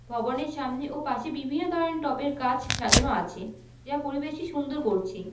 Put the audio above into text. ভবনের সামনে ও পাশে বিভিন্ন ধরনের টবের গাছ সাজানো আছে যা পরিবেশকে সুন্দর করছে।